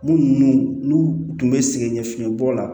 Munnu n'u tun bɛ sɛgɛn ɲɛfiɲɛ bɔ la